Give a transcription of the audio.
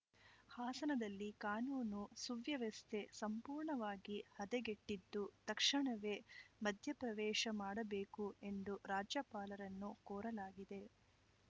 ಹಾಸನದಲ್ಲಿ ಕಾನೂನು ಸುವ್ಯವಸ್ಥೆ ಸಂಪೂರ್ಣವಾಗಿ ಹದಗೆಟ್ಟಿದ್ದು ತಕ್ಷಣವೇ ಮಧ್ಯಪ್ರವೇಶ ಮಾಡಬೇಕು ಎಂದು ರಾಜ್ಯಪಾಲರನ್ನು ಕೋರಲಾಗಿದೆ